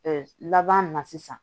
laban na sisan